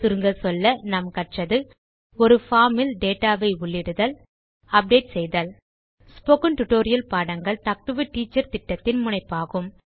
சுருங்கச்சொல்ல கற்றது ஒரு பார்ம் இல் டேட்டா வை உள்ளிடுதல் அப்டேட் செய்தல் ஸ்போகன் டுடோரியல் பாடங்கள் டாக் டு எ டீச்சர் திட்டத்தின் முனைப்பாகும்